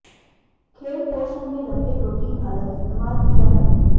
खेल पोषण में लंबे प्रोटीन अलग इस्तेमाल किया है